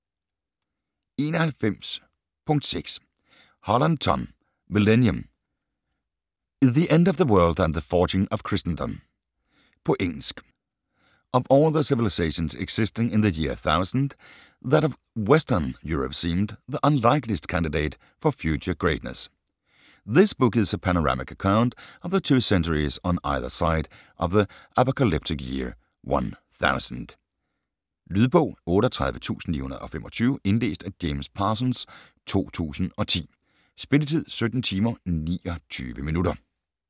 91.6 Holland, Tom: Millennium: the end of the world and the forging of Christendom På engelsk. Of all the civilisations existing in the year 1000, that of Western Europe seemed the unlikeliest candidate for future greatness. This book is a panoramic account of the two centuries on either side of the apocalyptic year 1000. Lydbog 38925 Indlæst af James Parsons, 2010. Spilletid: 17 timer, 29 minutter.